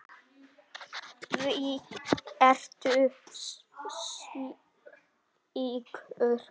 Hví ertu slíkur?